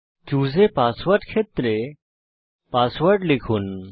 choose a password ক্ষেত্রে password লিখুন